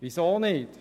Weshalb nicht?